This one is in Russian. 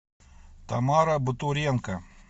тамара бутуренко